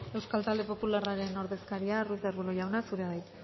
euskal talde popularraren ordezkaria ruiz de arbulo jauna zurea da hitza